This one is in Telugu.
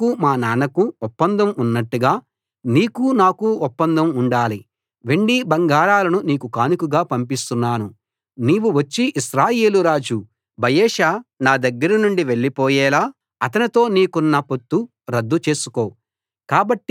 మీ నాన్నకూ మా నాన్నకూ ఒప్పందం ఉన్నట్టుగా నీకూ నాకూ ఒప్పందం ఉండాలి వెండి బంగారాలను నీకు కానుకగా పంపిస్తున్నాను నీవు వచ్చి ఇశ్రాయేలు రాజు బయెషా నా దగ్గర నుండి వెళ్ళిపోయేలా అతనితో నీకున్న పొత్తు రద్దు చేసుకో